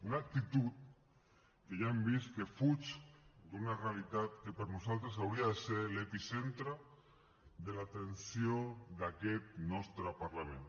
una actitud que ja hem vist que fuig d’una realitat que per nosaltres hauria de ser l’epicentre de l’atenció d’aquest nostre parlament